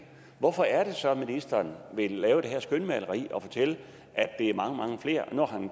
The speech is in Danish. hvorfor er det så sådan at ministeren vil lave det her skønmaleri og fortælle at det er mange mange flere når han